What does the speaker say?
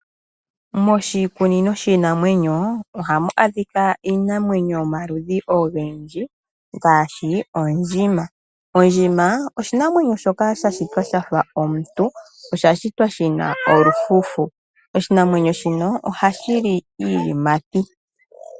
Moshikunino shiinamwenyo ohamu adhika iinamwenyo yomaludhi ogendji gaashi ondjima. Ondjima oshinamwenyo shoka sha shitwa shafa omuntu . Osha shitwa shi na olufufu. Oshinamwenyo shino ohashi li iiyimati.